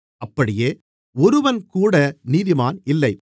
அப்படியே ஒருவன்கூட நீதிமான் இல்லை